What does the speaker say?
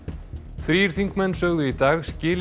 þrír þingmenn sögðu í dag skilið